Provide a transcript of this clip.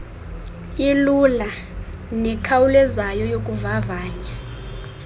ilula nekhawulezayo yokuvavanya